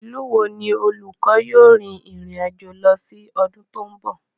Ìlú wo ni olùkọ́ yóò rin ìrìn àjò lọ sí ọdún tí ó ń bọ̀?